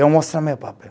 Eu mostro o meu papel.